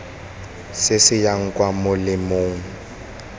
se se yang kwa molemeng